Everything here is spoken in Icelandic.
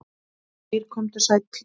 Geir komdu sæll.